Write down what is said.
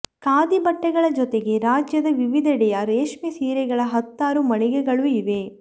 ಖಾದಿ ಬಟ್ಟೆಗಳ ಜೊತೆಗೆ ರಾಜ್ಯದ ವಿವಿಧೆಡೆಯ ರೇಷ್ಮೆ ಸೀರೆಗಳ ಹತ್ತಾರು ಮಳಿಗೆಗಳು ಇವೆ